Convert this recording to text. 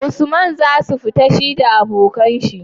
usman zasu fita shida abokan shi?